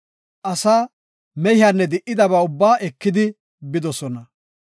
Asaa mehiyanne de7idaba ubbaa ekidi bidosona.